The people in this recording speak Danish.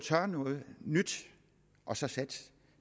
noget nyt og så satse